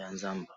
ya nzamba